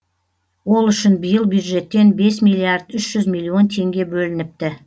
ол үшін биыл бюджеттен бес миллиард үш жүз миллион теңге бөлініпті